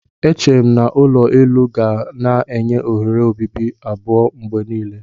Eche m na ulo elu ga na-enye oghere obibi abụọ mgbe niile.